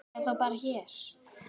Eða þá bara hér.